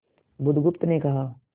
बुधगुप्त ने कहा